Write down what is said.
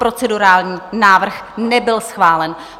Procedurální návrh nebyl schválen.